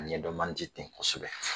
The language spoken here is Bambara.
A ɲɛ dɔn man di ten kosɛbɛ!